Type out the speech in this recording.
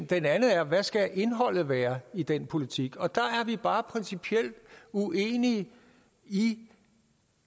den anden er hvad skal indholdet være i den politik og der er vi bare principielt uenige i